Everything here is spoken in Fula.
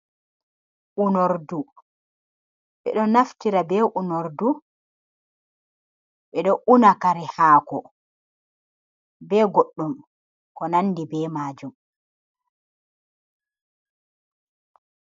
Unordu, ɓe ɗo naftira be unordu ɓe ɗo una kare haako, be goɗɗum ko nandi be maajum.